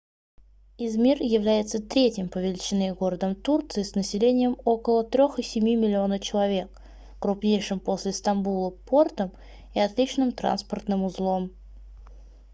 измир является третьим по величине городом турции с населением около 3,7 миллиона человек крупнейшим после стамбула портом и отличным транспортным узлом